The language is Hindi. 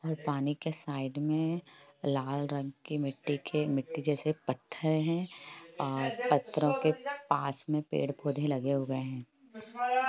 और पानी के साइड में लाल रंग की मिटटी के मिटटी जेसे पत्थर हैं और पथरो के पास में पेड़ पोधे लगे हुए हैं।